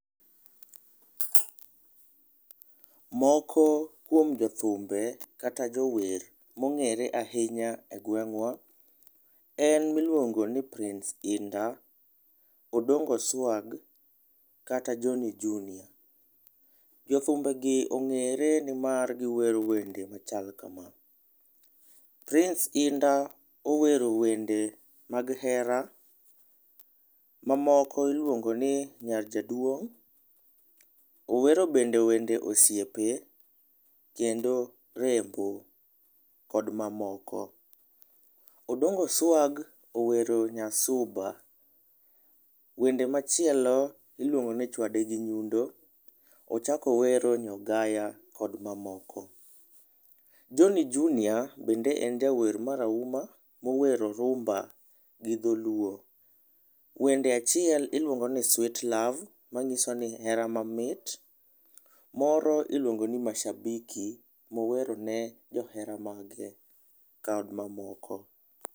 Moko kuom jo thumbe kata jower ma ong'ere ainya e gwengwa en mi iluongo ni prince Inda, odongo swag kata Johny Junior. Jo thumbe gi ong'ere ni mar gi wero wende ma chal kama . Prince Indah owero wende mag hera ma moko iluongo ni nyar jaduong',owero be wende osiepe kendo rembo kod ma moko. Odongo swag owero nya suba, wende machielo iluongo ni chwade gi nyundo, ochako owero nyo gaya kod ma moko. Johny Junior bende en jawer mar auma ma owero rumba gi dholuo wende achiel iluongo ni sweet love ma ng'iso ni hera ma mit moro iluongo ne mashabiki ma owero ne johera mage kod ma moko.